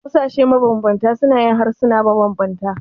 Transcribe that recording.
Ƙasashe mabanbanta suna yin harsuna mabanbanta.